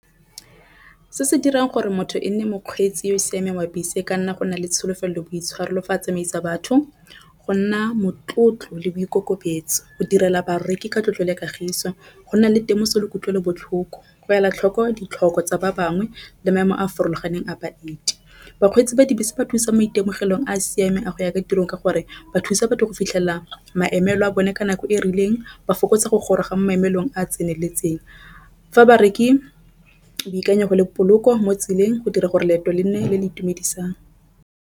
Se se dirang gore motho e nne mokgweetsi yo o siameng wa bese e ka nna go nale tsholofelo boitshwaro lo fa a tsamaisa batho. Go nna motlotlo le boikokobetso o direla bareki ka tlotlo le kagiso go nna le temoso le kutlwelobotlhoko go ela tlhoko ditlhoko tsa ba bangwe le maemo a a farologaneng a baeti. Bakgweetsi ba dibese ba thusa maitemogelong a siame a go ya ko tirong ka gore ba thusa batho go fitlhela maemo a bone ka nako e rileng ba fokotsa go goroga maemelong a tseneletseng fa bareki boikanyego le poloko mo tseleng go dira gore leeto le nne le le itumedisang.